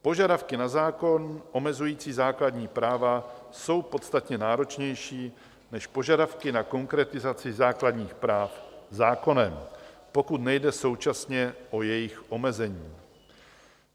Požadavky na zákon omezující základní práva jsou podstatně náročnější než požadavky na konkretizaci základních práv zákonem, pokud nejde současně o jejich omezení.